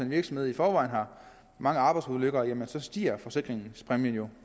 virksomhed i forvejen har mange arbejdsulykker stiger forsikringspræmien jo